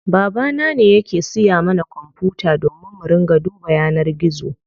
Baba na ne yake siya mana kwanfuta domin mu ringa duba yanar gizo.